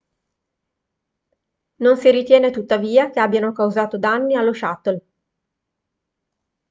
non si ritiene tuttavia che abbiano causato danni allo shuttle